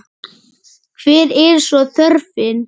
Hver er svo þörfin?